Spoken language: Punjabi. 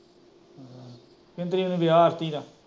ਕਿੰਨੀ ਤਰੀਕ ਨੂੰ ਵਿਆਹ ਆਰਤੀ ਦਾ